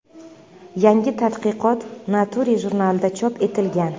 Yangi tadqiqot Nature jurnalida chop etilgan.